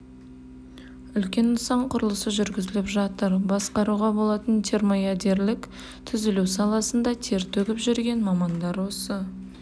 үлкен нысан құрылысы жүргізіліп жатыр басқаруға болатын термоядерлік түзілу саласында тер төгіп жүрген мамандар осы